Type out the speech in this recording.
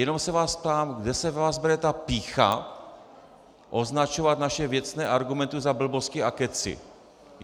Jenom se vás ptám, kde se ve vás bere ta pýcha označovat naše věcné argumenty za blbosti a kecy?